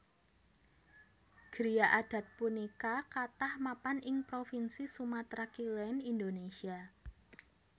Griya adat punika kathah mapan ing provinsi Sumatra Kilèn Indonésia